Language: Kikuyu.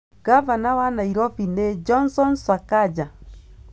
Gabana wa Nairobi nĩ Johnson Sakaja.